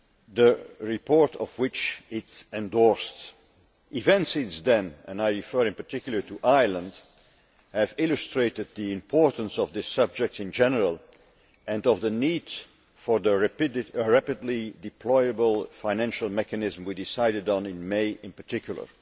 The report which it endorsed and the events since then, and I refer in particular to Ireland, have illustrated the importance of the subject in general and of the need for the rapidly deployable financial mechanism we decided on in May, in particular.